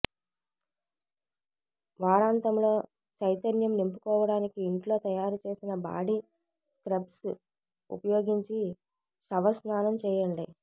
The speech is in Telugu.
వారాంతంలో చైతన్యం నింపుకోవటానికి ఇంట్లో తయారు చేసిన బాడీ స్క్రబ్స్ ఉపయోగించి షవర్ స్నానం చేయండి